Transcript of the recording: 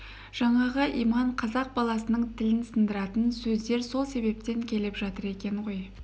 жаңағы иман қазақ баласының тілін сындыратын сөздер сол себептен келіп жатыр екен ғой